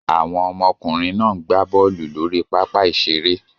Àwọn ọmọkùnrin náà ń gb bọ́ọ́lù lórí pápá-ìṣeré.